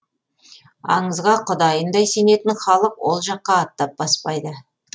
аңызға құдайындай сенетін халық ол жаққа аттап баспайды